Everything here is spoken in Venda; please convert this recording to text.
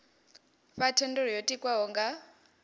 fha thendelo yo tikwaho nga